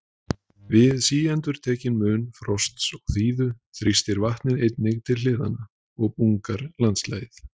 Við síendurtekinn mun frosts og þíðu þrýstir vatnið einnig til hliðanna og bungar landslagið.